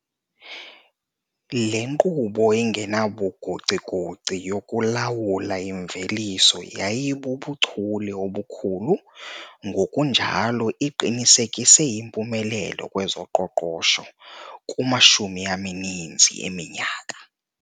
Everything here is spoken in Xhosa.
Le nkqubo engenabugocigoci yokulawula imveliso yayibubuchule obukhulu ngokunjalo iqinisekise impumelelo kwezoqoqosho kumashumi amaninzi eminyaka.